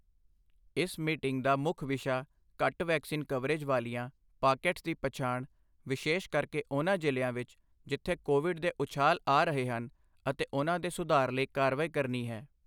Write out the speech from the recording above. ਇਸ ਮੀਟਿੰਗ ਦਾ ਮੁੱਖ ਵਿਸ਼ਾ ਘੱਟ ਵੈਕਸੀਨ ਕਵਰੇਜ ਵਾਲੀਆਂ ਪਾਕੇਟਸ ਦੀ ਪਛਾਣ ਵਿਸ਼ੇਸ਼ ਕਰਕੇ ਉਹਨਾਂ ਜਿ਼ਲ੍ਹਿਆਂ ਵਿੱਚ ਜਿੱਥੇ ਕੋਵਿਡ ਦੇ ਉਛਾਲ ਆ ਰਹੇ ਹਨ ਅਤੇ ਉਹਨਾਂ ਦੇ ਸੁਧਾਰ ਲਈ ਕਾਰਵਾਈ ਕਰਨੀ ਹੈ।